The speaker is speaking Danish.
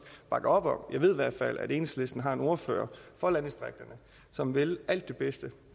bakker op om jeg ved i hvert fald at enhedslisten har en ordfører for landdistrikterne som vil alt det bedste